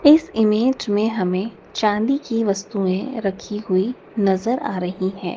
इस इमेज में हमें चांदी की वस्तुएं रखीं हुई नजर आ रहीं हैं।